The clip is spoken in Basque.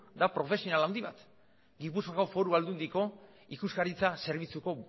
da profesional handi bat gipuzkoako foru aldundiko ikuskaritza zerbitzuko